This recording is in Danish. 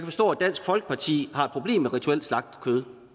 forstå at dansk folkeparti har et problem med rituelt slagtet kød